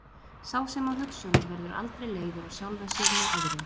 Sá sem á hugsjónir verður aldrei leiður á sjálfum sér né öðrum.